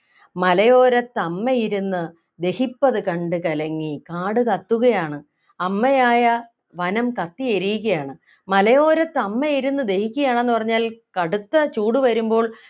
മലയോരത്തമ്മയിരുന്നു ദഹിപ്പതു കണ്ടു കലങ്ങി കാടു കത്തുകയാണ് അമ്മയായ വനം കത്തിയെരിയുകയാണ് മലയോരത്ത് അമ്മയിരുന്ന് ദഹിക്കുകയാണ് എന്ന് പറഞ്ഞാൽ കടുത്ത ചൂടു വരുമ്പോൾ